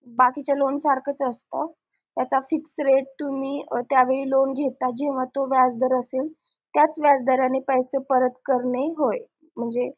बाकीच्या लोण सारखाच असत त्याचा fix rate तुम्ही त्या वेळी लोण घेता जेंव्हा तो व्याज दर असेल त्याच व्याज दराने परत करणे होय